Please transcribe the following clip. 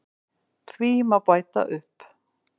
Því má bæta upp